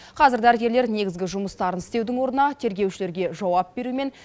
қазір дәрігерлер негізгі жұмыстарын істеудің орнына тергеушілерге жауап беру мен